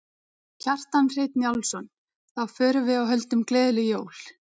Kjartan Hreinn Njálsson: Þá förum við og höldum gleðileg jól?